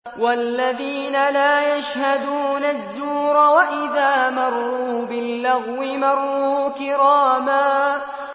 وَالَّذِينَ لَا يَشْهَدُونَ الزُّورَ وَإِذَا مَرُّوا بِاللَّغْوِ مَرُّوا كِرَامًا